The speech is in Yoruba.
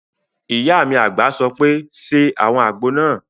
Ìyá mi àgbà sọ pé "ṣe àwọn àgbo náà!"